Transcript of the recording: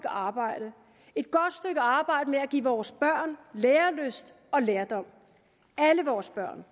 arbejde med at give vores børn lærelyst og lærdom alle vores børn